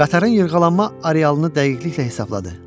Qatarın yırğalanma arealını dəqiqliklə hesabladı.